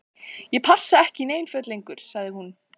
Ég passa ekki í nein föt lengur- sagði hún.